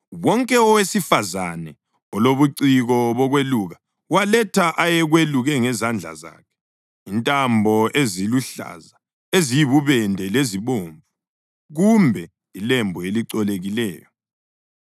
Wonke owesifazane olobuciko bokweluka waletha ayekweluke ngezandla zakhe, intambo eziluhlaza, eziyibubende lezibomvu kumbe ilembu elicolekileyo.